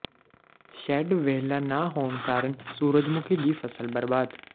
shed ਵਿਹਲਾ ਨਾ ਹੋਣ ਕਾਰਨ ਸੂਰਜਮੁਖੀ ਦੀ ਫਸਲ ਬਰਬਾਦ